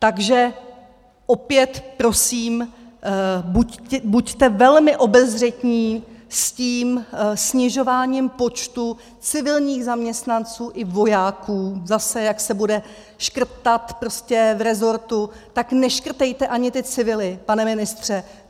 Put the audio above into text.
Takže opět prosím, buďte velmi obezřetní s tím snižováním počtu civilních zaměstnanců i vojáků, zase, jak se bude škrtat prostě v resortu, tak neškrtejte ani ty civily, pane ministře.